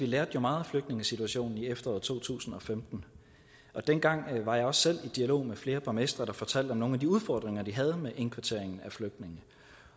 lærte meget af flygtningesituationen i efteråret to tusind og femten dengang var jeg også selv i dialog med flere borgmestre der fortalte om nogle af de udfordringer de havde med indkvartering af flygtninge